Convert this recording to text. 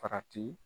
Farati